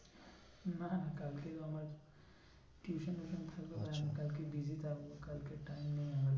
না না কালকে আমার tuition ফিউশন থাকবে আবার আমি কালকে busy থাকবো কালকে time নেই আমার